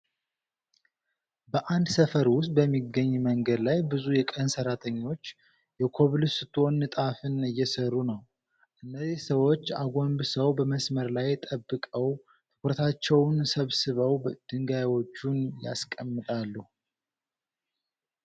በአንድ ሰፈር ዉስጥ በሚገኝ መንገድ ላይ ብዙ የቀን ሰራተኞች የኮብልስቶን ንጣፍን እየሰሩ ነው። እነዚህ ሰዎች አጎንብሰው በመስመር ላይ ጠብቀው ትኩረታቸውን ሰብስበው ድንጋዮቹን ያስቀምጣሉ።